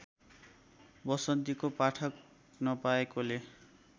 वसन्तीको पाठक नपाएकोले